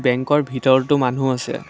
বেঙ্কৰ ভিতৰতো মানুহ আছে।